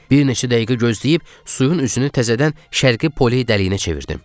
Bir neçə dəqiqə gözləyib suyun üzünü təzədən Şərqi Poli dəliyinə çevirdim.